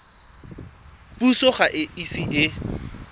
puso ga e ise e